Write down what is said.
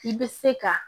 I bɛ se ka